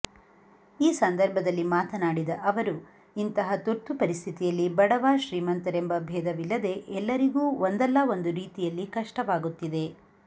ಈ ಸಂದರ್ಭದಲ್ಲಿ ಮಾತನಾಡಿದ ಅವರು ಇಂತಹ ತುರ್ತು ಪರಿಸ್ಥಿತಿಯಲ್ಲಿ ಬಡವ ಶ್ರೀಮಂತರೆಂಬ ಭೇಧವಿಲ್ಲದೆ ಎಲ್ಲರಿಗೂ ಒಂದಲ್ಲ ಒಂದು ರೀತಿಯಲ್ಲಿ ಕಷ್ಟವಾಗುತ್ತಿದೆ